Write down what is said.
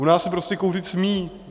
U nás se prostě kouřit smí.